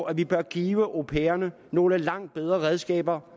at vi bør give au pairerne nogle langt bedre redskaber